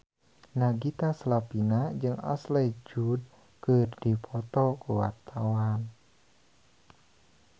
Nagita Slavina jeung Ashley Judd keur dipoto ku wartawan